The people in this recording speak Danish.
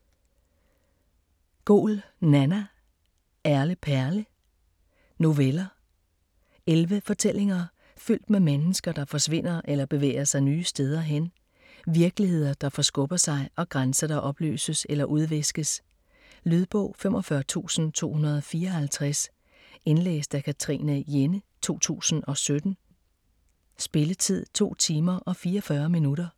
Goul, Nanna: Erle perle Noveller. Elleve fortællinger fyldt med mennesker, der forsvinder eller bevæger sig nye steder hen, virkeligheder, der forskubber sig og grænser, der opløses eller udviskes. Lydbog 45254 Indlæst af Katrine Jenne, 2017. Spilletid: 2 timer, 44 minutter.